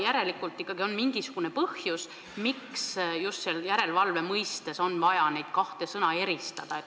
Järelikult on mingisugune põhjus, miks just järelevalve mõttes on vaja neid kahte sõna eristada.